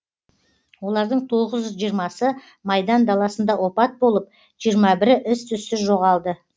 олардың тоғыз жүз жиырмасы майдан даласында опат болып жиырма бірі із түзсіз жоғалды